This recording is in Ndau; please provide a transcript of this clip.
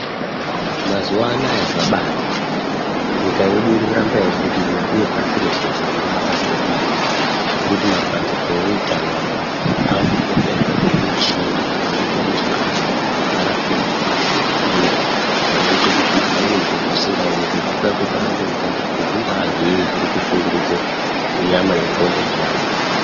Mazuwa anaya zvabanaka nyika yedu irikuramba yebudirira uye pashi reshe zviro zviri kuramba zveibudirira zvekuti mabandiko eutano anaya akupota eitsvake zvimuchini zvinoite kuti antu arapwe ngekukasira uyezve zvinoite kuti zviro zvisingaonekwi zvitsvakwe padande mutande kuti zvinga zvinyi zviri kushungurudza nyama ye nxondo dzantu .